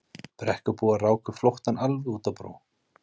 Brekkubúar ráku flóttann alveg út á brú.